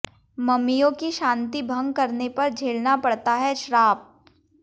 ममियों की शांति भंग करने पर झेलना पड़ता है श्राप